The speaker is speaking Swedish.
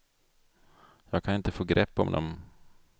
Jag kan inte få grepp om dem.